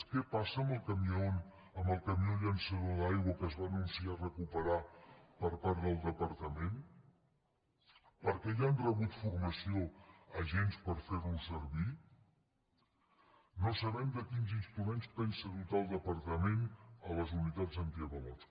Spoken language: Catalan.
què passa amb el camió llançador d’aigua que es va anunciar recuperar per part del departament per què ja han rebut formació agents per fer lo servir no sabem de quins instruments pensa dotar el departament les unitats antiavalots